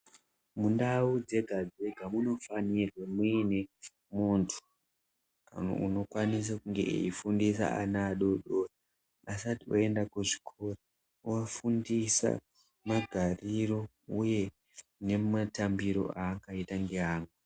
Mundau dzega dzega munofanirwe mune muntu unokwanisa kunge eifundisa ana adodori asati oenda kuzvikora ovafundiswa magariro uye nematambiro angaita ngeamwe.